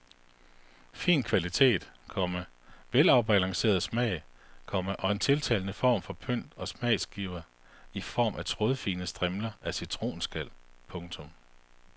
Fin kvalitet, komma velafbalanceret smag, komma og en tiltalende form for pynt og smagsgiver i form af trådfine strimler af citronskal. punktum